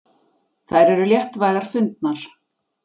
Þær eru léttvægar fundnar.